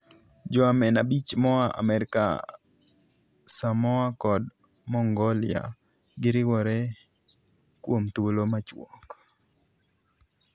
Joamen abich moaa Amerka, Samoa kod Mongolia giriwore kuom thuolo machuok.